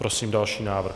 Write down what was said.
Prosím další návrh.